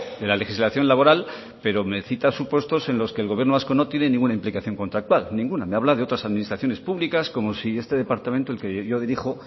de la legislación laboral pero me cita supuestos en los que el gobierno vasco no tiene ninguna implicación contractual ninguna me habla de otras administraciones públicas como si este departamento el que yo dirijo